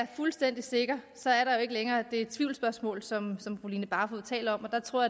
fuldstændig sikker så er der jo ikke længere det tvivlsspørgsmål som fru line barfod taler om der tror